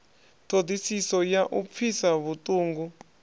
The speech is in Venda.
ṱhodisiso ya u pfisa vhuṱungu